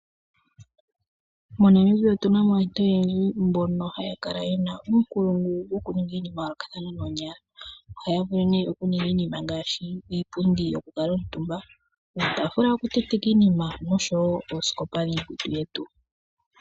MoNamibia otunamo aantu oyendji mbono ha ya kala ye na uunkulungu woku ninga iinima ya yoolokathana noonyala. Oha ya vulu oku ninga iinima ngaashi, iipundi, iitaafula yoku tenteka iinima osho woo oosikopa dhoku tula iikutu yetu.